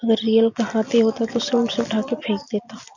अगर रियल का हाथी होता तो सूंड से उठा के फेक देता--